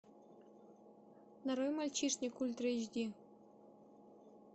нарой мальчишник ультра эйч ди